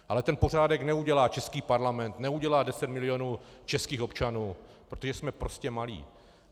Ale ten pořádek neudělá český parlament, neudělá deset milionů českých občanů, protože jsme prostě malí.